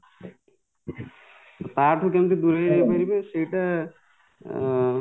ତାଠୁ କେମିତି ଦୁରେଇ ରହିପାରିବେ ସେଇଟା ଆଁ